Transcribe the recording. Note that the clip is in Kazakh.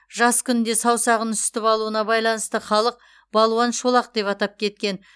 жас күнінде саусағын үсітіп алуына байланысты халық балуан шолақ деп атап кеткен